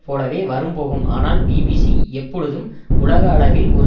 போலவே வரும் போகும் ஆனால் பிபிசி எப்பொழுதும் உலக அளவில் ஒரு